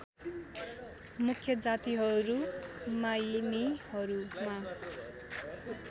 मुख्य जातिहरू मायिनीहरूमा